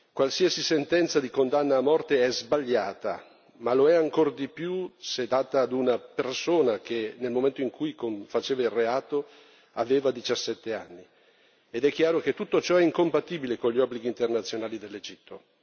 Qualsiasi sentenza di condanna a morte è sbagliata, ma lo è ancor di più se inflitta ad una persona che, nel momento in cui commetteva il reato, aveva diciassette anni ed è chiaro che tutto ciò è incompatibile con gli obblighi internazionali dell'Egitto.